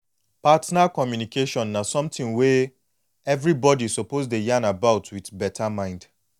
partner communication na something wey everybody suppose dey yan about with beta mind